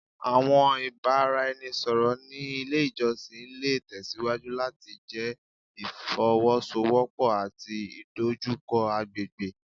Awọn ibaraẹnisọrọ ni ile ijọsin le tẹsiwaju lati jẹ ifowosowopo ati idojukọ agbegbe